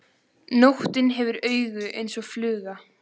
Nóttin hefur augu eins og fluga.